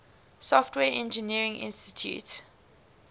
software engineering institute